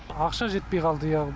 ақша жетпей қалды иә